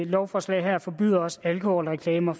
lovforslag forbyder også alkoholreklamer